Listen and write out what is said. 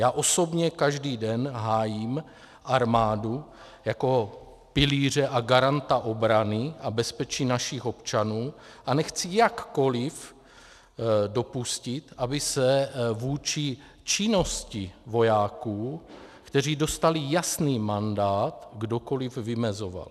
Já osobně každý den hájím armádu jako pilíře a garanta obrany a bezpečí našich občanů a nechci jakkoliv dopustit, aby se vůči činnosti vojáků, kteří dostali jasný mandát, kdokoliv vymezoval.